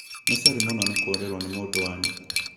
Nĩ sori mũno nĩ kurĩrwo nĩ mũndũ wanyu